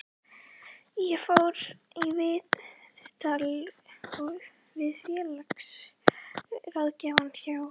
Ég fór í viðtal við félagsráðgjafa hjá